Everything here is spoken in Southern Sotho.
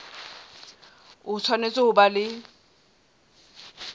o tshwanetse ho ba le